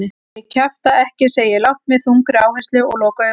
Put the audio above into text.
Ég kjafta ekki, segi ég lágt með þungri áherslu og loka augunum.